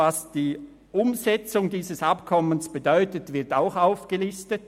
Was die Umsetzung dieses Abkommens bedeutet, wird auch aufgelistet: